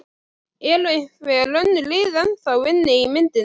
Eru einhver önnur lið ennþá inni í myndinni?